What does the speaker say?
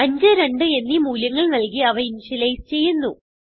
5 2എന്നീ മൂല്യങ്ങൾ നല്കി അവ ഇനിഷ്യലൈസ് ചെയ്യുന്നു